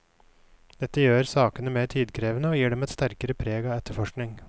Dette gjør sakene mer tidkrevende, og gir dem et sterkere preg av etterforskning.